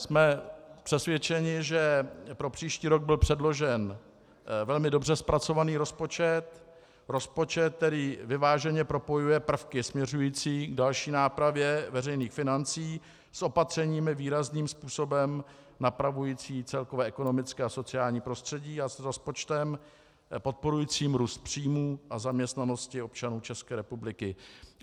Jsme přesvědčeni, že pro příští rok byl předložen velmi dobře zpracovaný rozpočet, rozpočet, který vyváženě propojuje prvky směřující k další nápravě veřejných financí s opatřeními výrazným způsobem napravujícími celkové ekonomické a sociální prostředí a s rozpočtem podporujícím růst příjmů a zaměstnanosti občanů České republiky.